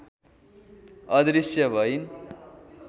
अदृश्य भइन्